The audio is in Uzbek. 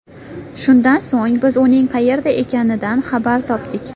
Shundan so‘ng, biz uning qayerda ekanidan xabar topdik.